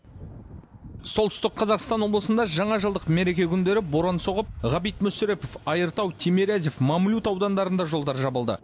солтүстік қазақстан облысында жаңажылдық мереке күндері боран соғып ғабит мүсірепов айыртау тимирязев мамлют аудандарында жолдар жабылды